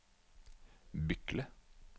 Bykle